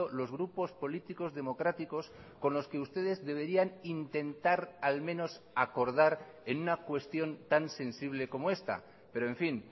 los grupos políticos democráticos con los que ustedes deberían intentar al menos acordar en una cuestión tan sensible como esta pero en fin